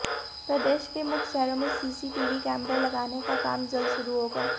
प्रदेश के मुख्य शहरों में सीसीटीवी कैमरे लगाने का काम जल्द शुरू होगा